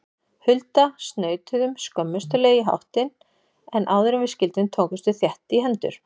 Hulda snautuðum skömmustuleg í háttinn, en áðuren við skildum tókumst við þétt í hendur.